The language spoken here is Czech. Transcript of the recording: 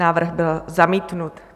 Návrh byl zamítnut.